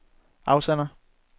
afsender